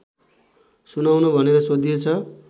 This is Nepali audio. सुनाउन भनेर सोधिएछ